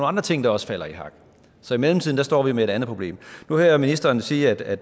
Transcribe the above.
andre ting der også falder i hak så i mellemtiden står vi med et andet problem nu hører jeg ministeren sige at